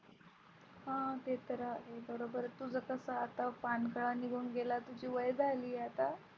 अह ते तर आहेच बरोबर तुझं कसं आता पानकळा निघून गेला तुझी वय झाली आहे आता.